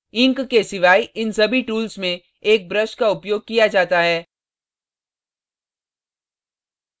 ink ink के सिवाय इन सभी tools में एक brush का उपयोग किया जाता है